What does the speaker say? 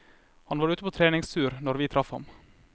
Han var ute på treningstur når vi traff han.